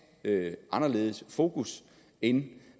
anderledes fokus end